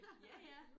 Ja ja